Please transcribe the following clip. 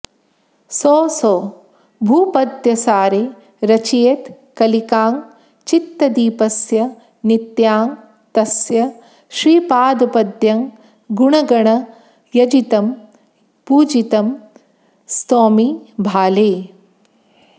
सोऽसौ भ्रूपद्मसारे रचयित कलिकां चित्तदीपस्य नित्यां तस्य श्रीपादपद्मं गुणगणयजितं पूजितं स्तौमि भाले